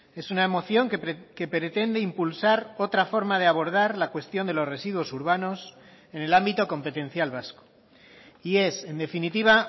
es una moción que pretende impulsar otra forma de abordar la cuestión de los residuos urbanos en el ámbito competencial vasco y es en definitiva